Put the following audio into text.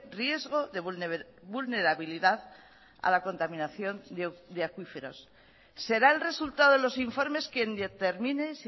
riesgo de vulnerabilidad a la contaminación de acuíferos será el resultado de los informes quien determine